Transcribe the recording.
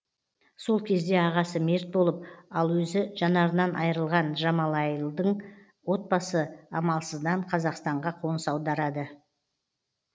сол кезде ағасы мерт болып ал өзі жанарынан айырылған джамалайлдың отбасы амалсыздан қазақстанға қоныс аударады